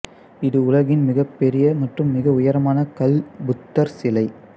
இது உலகின் மிகப்பெரிய மற்றும் மிக உயரமான கல் புத்தர் சிலை